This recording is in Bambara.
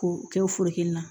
K'o kɛ o foro kelen na